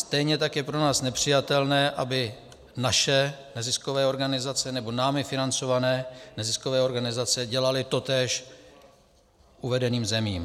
Stejně tak je pro nás nepřijatelné, aby naše neziskové organizace nebo námi financované neziskové organizace dělaly totéž uvedeným zemím.